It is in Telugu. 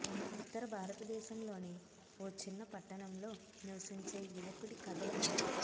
ఉత్తర భారతదేశంలోని ఓ చిన్న పట్టణంలో నివసించే యువకుడి కథ ఇది